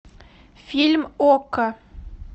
фильм окко